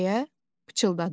deyə pıçıldadım.